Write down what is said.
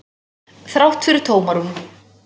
Þrátt fyrir tómarúm.